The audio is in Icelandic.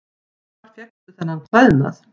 Hvar fékkstu þennan klæðnað?